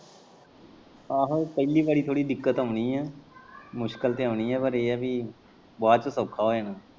ਆਹੋ ਪੈਲੀ ਵਾਰੀ ਥੌੜੀ ਦਿੱਕਤ ਆਣੀ ਮੁਸ਼ਕਲ ਤੇ ਆਉਣੀ ਪਰ ਏ ਐ ਵੀ ਬਾਚੋਂ ਸੌਖਾ ਹੋ ਜਾਣਾ।